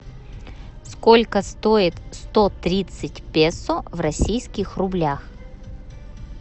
сколько стоит сто тридцать песо в российских рублях